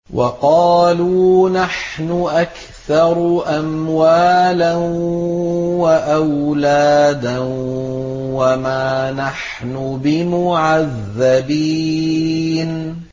وَقَالُوا نَحْنُ أَكْثَرُ أَمْوَالًا وَأَوْلَادًا وَمَا نَحْنُ بِمُعَذَّبِينَ